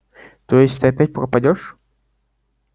то есть ты опять пропадёшь